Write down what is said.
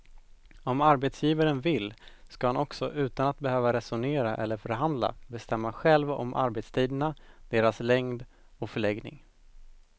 Om arbetsgivaren vill ska han också utan att behöva resonera eller förhandla bestämma själv om arbetstiderna, deras längd och förläggning.